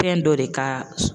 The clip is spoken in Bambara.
Fɛn dɔ de ka